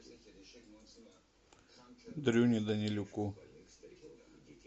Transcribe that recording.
дрюне данилюку